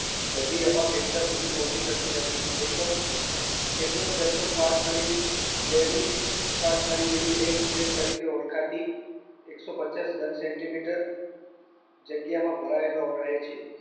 બધી હવા ફેફસા સુધી પહોંચી શકતી નથી જેટલોક કેટલોક જથ્થો શ્વાસનળી લેવી શ્વાસનળી જેવી dead space તરીકે ઓળખાતી એકસો પચાસ ઘન centimeter જગ્યામાં ભરાયેલો રહે છે